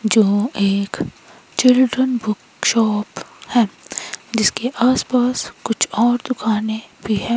जो एक children book shop है जिसके आस पास कुछ और दुकाने भी है।